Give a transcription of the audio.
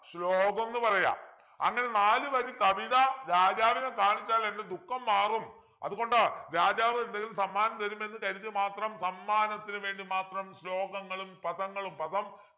ശ്ലോകം ന്നു പറയ അങ്ങനെ നാലുവരി കവിത രാജാവിനെ കാണിച്ചാൽ എൻ്റെ ദുഃഖം മാറും അതുകൊണ്ട് രാജാവ് എന്തെങ്കിലും സമ്മാനം തരുമെന്ന് കരുതി മാത്രം സമ്മാനത്തിനു വേണ്ടി മാത്രം ശ്ലോകങ്ങളും പദങ്ങളും പദം